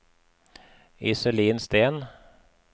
Iselin Steen